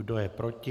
Kdo je proti?